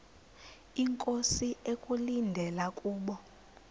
inkosi ekulindele kubo